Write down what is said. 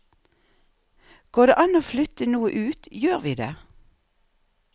Går det an å flytte noe ut, gjør vi det.